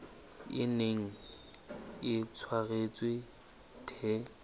e neng e tshwaretswe the